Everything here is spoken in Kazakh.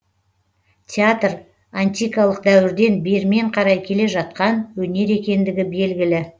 театр антикалық дәуірден бермен қарай келе жатқан өнер екендігі белгілі